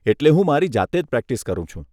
એટલે હું મારી જાતે જ પ્રેક્ટીસ કરું છું.